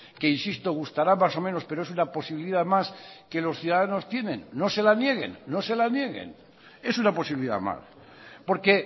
que insisto gustará más o menos pero es una posibilidad más que los ciudadanos tienen no se la nieguen no se la nieguen es una posibilidad más porque